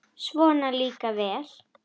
Svona líka vel!